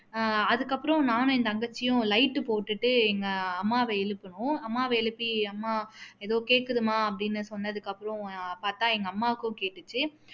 ஆஹ் அதுக்கு அப்பறாம் நானும் என் தங்கச்சியும் light போட்டுட்டு எங்க அம்மாவை எழுப்புனோம் அம்மாவ எழுப்பி அம்மா எதோ கேக்குதும்மா அப்படின்னு சொன்னதுக்கு அப்பறம் பாத்தா எங்க அம்மாவுக்கும் கேட்டுச்சு